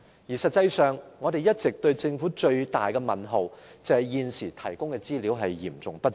事實上，我們對政府一個最大的問號，就是它現時提供的資料嚴重不足。